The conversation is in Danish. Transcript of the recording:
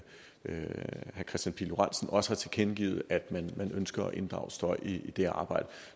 kristian pihl lorentzen også har tilkendegivet at man ønsker at inddrage støj i det arbejde